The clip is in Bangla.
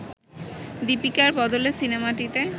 দীপিকার বদলে সিনেমাটিতে